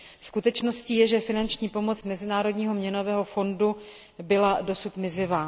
Skutečností je, že finanční pomoc Mezinárodního měnového fondu byla dosud mizivá.